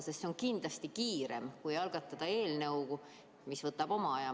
Sest see on kindlasti kiirem, kui algatada eelnõu, mille menetlemine võtab oma aja.